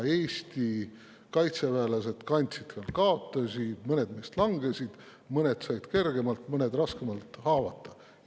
Eesti kaitseväelased kandsid ka kaotusi, mõned neist langesid, mõned said kergemalt, mõned raskemalt haavata.